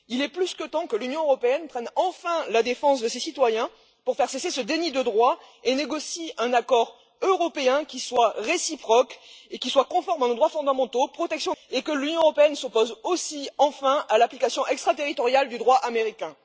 Il est plus que temps que l'Union européenne prenne enfin la défense de ses citoyens pour faire cesser ce déni de droit et négocie un accord européen qui soit réciproque et conforme à nos droits fondamentaux et que l'Union européenne s'oppose aussi, enfin, à l'application extraterritoriale du droit américain.